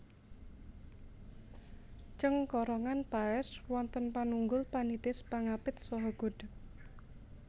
Cengkorongan paès wonten panunggul panitis pangapit saha godhég